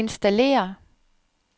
installér